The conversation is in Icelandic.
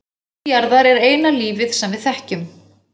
Og líf jarðar er eina lífið sem við þekkjum.